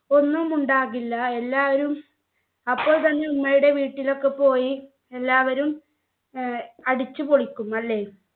ഒന്നും ഉണ്ടാകില്ല എല്ലാവരും അപ്പോൾ തന്നെ ഉമ്മയുടെ വീട്ടിലൊക്കെ പോയി എല്ലാവരും ഏർ അടിച്ചുപൊളിക്കും അല്ലെ